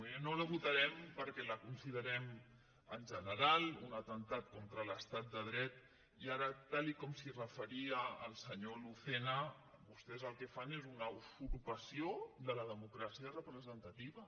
miri no la votarem perquè la considerem en general un atemptat contra l’estat de dret i ara tal com s’hi referia el senyor lucena vostès el que fan és una usurpació de la democràcia representativa